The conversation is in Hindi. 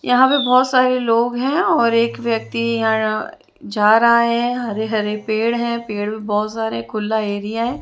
यहां पे बहुत सारे लोग हैं और एक व्यक्ति यहां यहां जा रहा है हरे हरे पेड़ हैं पेड़ भी बहुत सारे खुला ऐरिया है।